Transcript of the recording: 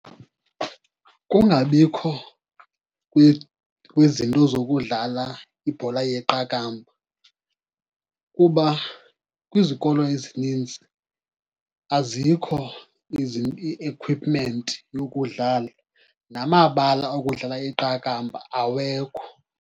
Kungabikho kwezinto zokudlala ibhola yeqakamba, kuba kwizikolo ezinintsi azikho i-equipment yokudlala, namabala okudlala iqakamba awekho.